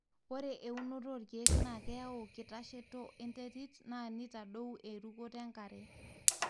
ore eunoto olkeek na keyau kitasheto enterit na nitadou erukoto enkare.